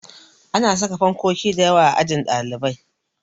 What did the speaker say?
Ana saka fankoki dayawa a ajin ɗalibai